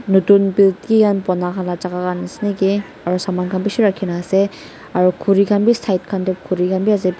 notun built kiki khan bona khan laga jaga khan ase naki aru saman khan bishi rakhina ase aru khuri khan bi side khan te khuri khan bi ase.